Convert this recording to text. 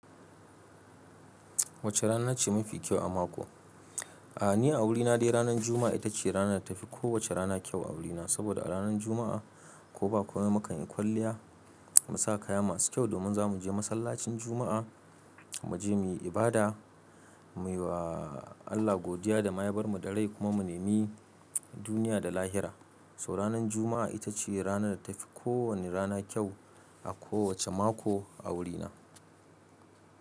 Wace rana ce mafi kyau a mako? A'a, ni a wurina dai ranar Juma'a ita ce rana da tafi kowace rana kyau a wurina. Sabida a ranar Juma'a ko ba ko ba komai mu kan yi kwalliya, mu sa kaya masu kyau domin za mu je masallacin Juma'a, mu je muyi ibada, muyi wa Allah godiya da mayabar mu da rai kuma mu nemi duniya da lahira. So ranar Juma'a ita ce rana da ta fi kowane rana kyau a kowace mako a wurina.